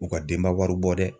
U ka denba wari bɔ dɛ.